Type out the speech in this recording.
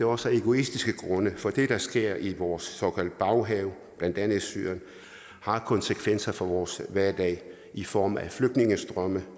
også af egoistiske grunde for det der sker i vores såkaldte baghave blandt andet i syrien har konsekvenser for vores hverdag i form af flygtningestrømme